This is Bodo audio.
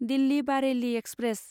दिल्लि बारेलि एक्सप्रेस